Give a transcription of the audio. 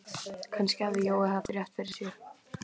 Kannski hafði Jói haft rétt fyrir sér.